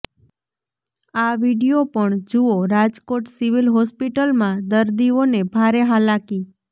આ વીડિયો પણ જુઓઃ રાજકોટ સિવિલ હોસ્પિટલમાં દર્દીઓને ભારે હાલાકી